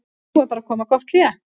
Nú er bara að koma gott hlé.